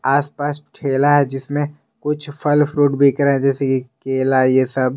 आस पास ठेला है जिसमें कुछ फल फ्रूट बिक रहे हैं जैसे ये केला है ये सब।